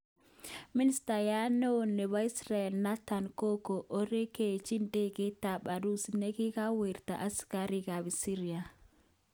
Ministayat neo nebo Israel Nathan koko orekechi idegeit tab Urusi nekikawirta asikari kap Syria.